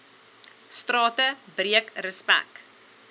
strate breek respek